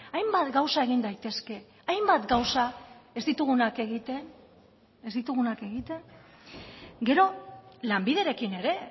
hainbat gauza egin daitezke hainbat gauza ez ditugunak egiten ez ditugunak egiten gero lanbiderekin ere